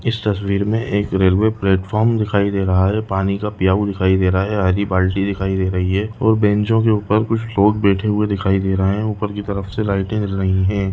इस तस्वीर में एक रेलवे प्लेटफार्म दिखाई दे रहा हैं पानी का पियावु दिखाई दे रहा हैं हरी बाल्टी दिखाई दे रही हैं और बेंचो के ऊपर कुछ लोग बैठे हुए दिखाई दे रहे हे ऊपर की तरफ से लाइटे जल रही हे।